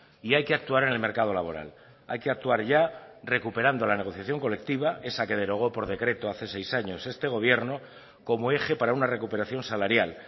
y hay que actuar en el mercado laboral hay que actuar ya recuperando la negociación colectiva esa que derogó por decreto hace seis años este gobierno como eje para una recuperación salarial